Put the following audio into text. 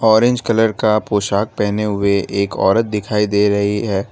Orange colour का पोशाक पहने हुए एक औरत दिखाई दे रही है।